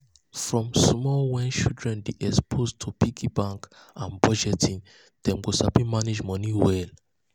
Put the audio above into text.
um from small wen um children dey exposed to piggy banks and budgeting dem go sabi manage moni well.